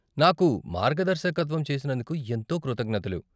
నాకు మార్గదర్శకత్వం చేసినందుకు ఎంతో కృతజ్ఞతలు.